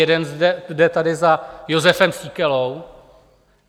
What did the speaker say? Jeden jde tady za Jozefem Síkelou.